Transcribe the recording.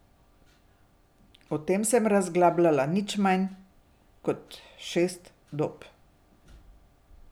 O tem sem razglabljal nič manj kot šest dob.